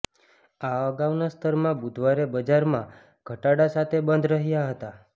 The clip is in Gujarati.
આ અગાઉના સ્તરમાં બુધવારે બજારમાં ઘટાડા સાથે બંધ રહ્યા હતા